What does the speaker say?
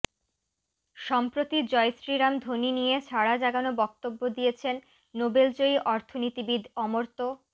সম্প্রতি জয়শ্রীরাম ধ্বনি নিয়ে সাড়া জাগানো বক্তব্য দিয়েছেন নোবেলজয়ী অর্থনীতিবিদ অমর্ত্য